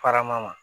Parama ma